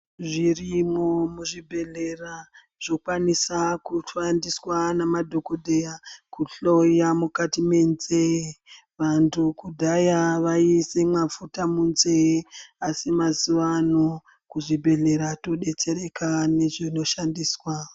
Zvirimwo muzvibhedhlera zvinokwanisa kushandiswa ngemadhokodheya kuhloya mukati menzee vantu kudhaya vaiise mafuta munzee asi mazuva ano kuzvibhedhlera todetsereka ngezvinoshandiswa.